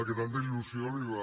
que tanta il·lusió li va